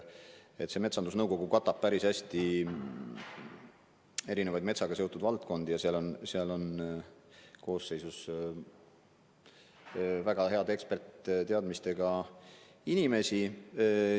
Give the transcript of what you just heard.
Metsandusnõukogu katab päris hästi erinevaid metsaga seotud valdkondi ja selle koosseisus on väga heade eksperditeadmistega inimesi.